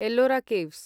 Ellora caves